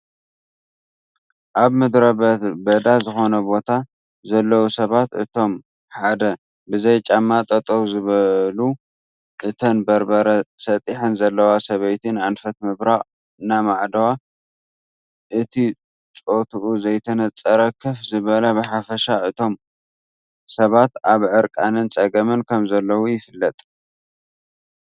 ኣብ ምድረ በዳ ዝኾነ ቦታ ዘለዉ ሰባት እቶም ሓደ ብዘይ ጫማ ጠጠው ዝበሉ እተን በርበረ ሰጢሐን ዘለዋ ሰበይቲ ንኣንፈት ምብራቅ እናማዕደዋ እቲ ፆቱኡ ዘይተነፀረ ከፍ ዝበለ ብሓፈሻ እቶም ሰባት ኣብ ዕርቃንን ፀገምን ከም ዘለዉ ይፍለጥ፡፡